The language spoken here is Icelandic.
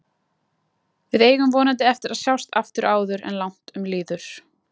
Við eigum vonandi eftir að sjást aftur áður en langt um líður.